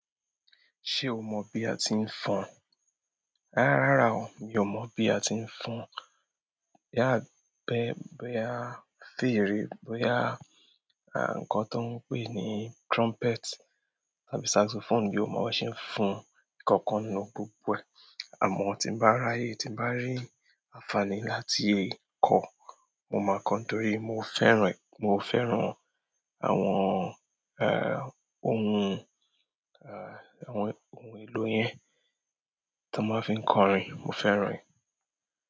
Ṣé o mọ̀ bí a ti ń fọn? Rárá o, mi ò mọ̀ bí a ti ń fọn. Bí a bá, bí a fìrì, bí a, nkán tó ń pè ní trumpet tàbí saxophone mi ò mọ̀ bó ṣe ń fọn kankan nínú gbogbo ẹ. Àmọ́ tí n bá ráyè tí n bá rí àǹfààní láti kọ́, mo máa kọ́ torí mo fẹ́ràn, mo fẹ́ràn àwọn, eh, ohun, eh, àwọn ohun èlò yẹn tó máa ń fi ń kọrin. Mo fẹ́ràn rẹ̀.